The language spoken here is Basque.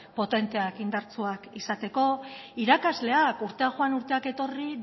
potenteak eta indartsuak izateko irakasleak urteak joan eta urteak etorri